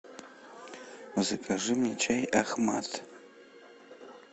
закажи мне чай ахмад